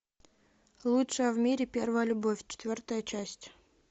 лучшая в мире первая любовь четвертая часть